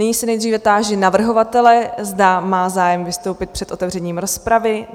Nyní se nejdříve táži navrhovatele, zda má zájem vystoupit před otevřením rozpravy?